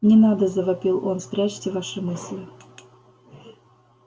не надо завопил он спрячьте ваши мысли